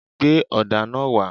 Gbé ọ̀dà náà wá.!